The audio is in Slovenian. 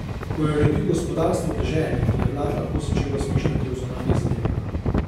Ko je uredil gospodarstvo v deželi, je Vlad lahko začel razmišljati o zunanjih zadevah.